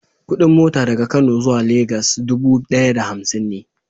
Kudin mota daga Kano zuwa Lagos dubu daya da hamsin ne.